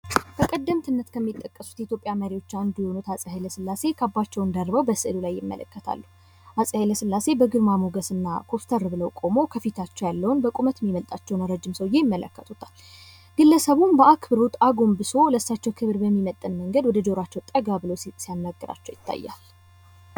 በቀደምትነት ከሚጠቀሱት የኢትዮጵያ መሪዎች አንዱ የሆኑት አጼ ኃይለሥላሴ በስዕሉ ላይ ይመለከታሉ። አጼ ኃይለሥላሴ በግርማ ሞገስና ኮስተር ብለው ቁመው ከፊታቸው ያለውን በቁመት የሚበልጣቸውን ረጅም ሰውየ ይመለከቱታል። ግለሰቡም በአክብሮት አጎንብሶ ለሳቸው ክብር በሚመጥን መንገድ በጆራቸው ጠጋ ብለው ሲያናግራቸው ይታያል።